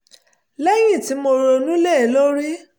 lẹ́yìn tí mo ronú lé e lórí